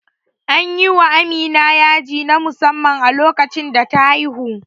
Anyi wa Amina yaji na musamman a lokacin da ta haihu